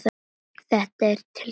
Þetta er til þín